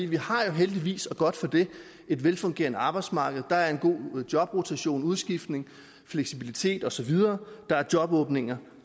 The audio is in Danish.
vi har jo heldigvis og godt for det et velfungerende arbejdsmarked der er en god jobrotation udskiftning fleksibilitet og så videre der er jobåbninger